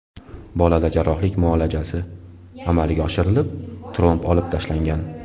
Bolada jarrohlik muolajasi amalga oshirilib, tromb olib tashlangan.